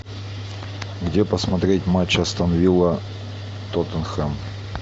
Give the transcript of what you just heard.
где посмотреть матч астон вилла тоттенхэм